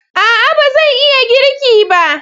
A'a! ba zan iya girki ba.